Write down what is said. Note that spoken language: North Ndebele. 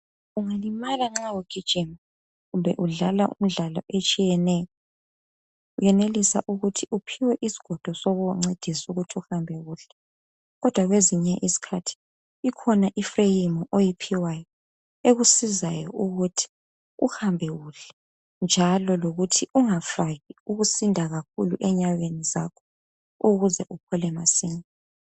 Ungalimala nxa ugijima, kumbe udlala imidlalo etshiyeneyo. Uyenelisa ukuthi uphiwe isigodo sokukuncedisa ukuthi uhambe kuhle. Kodwa kwezinye izikhathi, ikhona ifreyimu, oyiphiwayo. Ekusizayo ukuthi uhambe kuhle, njalo lokuthi ungafaki ukusinda kakhulu enyaweni zakho. Ukuze uphole masinyane.